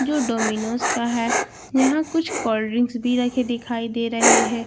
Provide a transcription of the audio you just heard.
जो डोमिनोज का है यहां कुछ कोल्ड ड्रिंक्स भी रखे दिखाई दे रहे है।